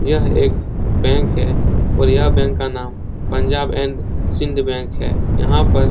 यह एक बैंक है और यह बैंक का नाम पंजाब एंड सिंध बैंक है। यहाँ पर --